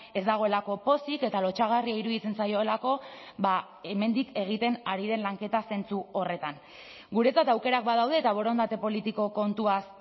ez dagoelako pozik eta lotsagarria iruditzen zaiolako hemendik egiten ari den lanketa zentzu horretan guretzat aukerak badaude eta borondate politiko kontuaz